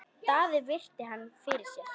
Daði virti hann fyrir sér.